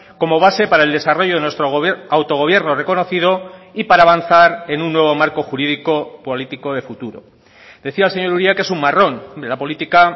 como base para el desarrollo de nuestro autogobierno reconocido y para avanzar en un nuevo marco jurídico político de futuro decía el señor uria que es un marrón de la política